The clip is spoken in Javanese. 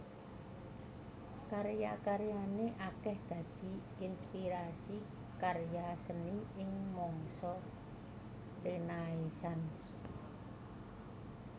Karya karyané akèh dadi inspirasi karya seni ing mangsa Renaisans